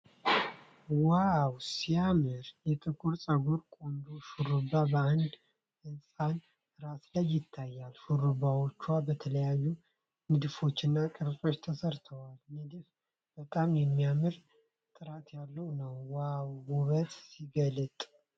ዋው ሲያምር! የጥቁር ፀጉር ቆንጆ ሹሩባ በአንድ ሕፃን ራስ ላይ ይታያል። ሹሩባዎቹ በተለያዩ ንድፎችና ቅርጾች ተሰርተዋል። ንድፉ በጣም የሚያምርና ጥራት ያለው ነው። ዋው ውበት ሲገለጥ!